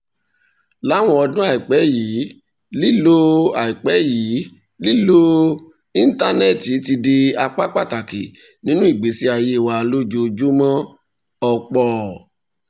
láwọn ọdún àìpẹ́ yìí lílo àìpẹ́ yìí lílo íńtánẹ́ẹ̀tì ti di apá pàtàkì nínú ìgbésí ayé wa lójoojúmọ́ ọ̀pọ̀